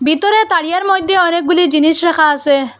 ভিতরে তারিয়ার মইধ্যে অনেকগুলি জিনিস রাখা আসে ।